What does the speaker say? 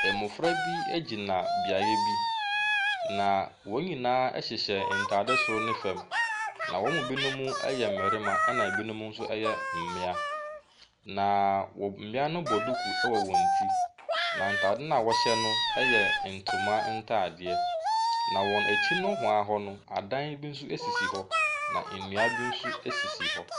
Ɛmɔfra bi ɛgyina beayɛ bi na wɔn nyinaa ɛhyehyɛ ntade soro ne fɛm na wɔn mu binom ɛyɛ mmarima ɛna ɛbinom nso ɛyɛ mmea. Na mmea no bɔ duku ɛwɔ wɔn ti na ntaade na wɔhyɛ no yɛ ntoma ɛntaadeɛ na wɔn akyi dohoaa hɔ no, adan bi nso ɛsisi hɔ na nnua bi nso ɛsisi hɔ.